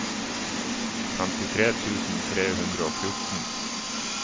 femtitre tusen tre hundre og fjorten